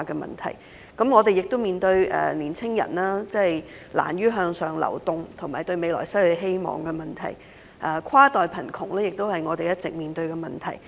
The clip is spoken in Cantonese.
此外，我們亦面對年青人難於向上流動及對未來失去希望的問題，而跨代貧窮亦是我們一直面對的問題。